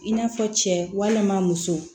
I n'a fɔ cɛ walima muso